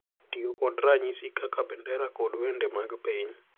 Tiyo kod ranyisi kaka bendera kod wende mag piny